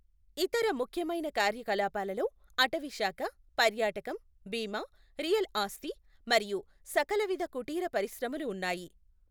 ఇతర ముఖ్యమైన కార్యకలాపాలలో అటవీశాఖ, పర్యాటకం, బీమా, రియల్ ఆస్థి మరియు సకలవిధ కుటీర పరిశ్రమలు ఉన్నాయి.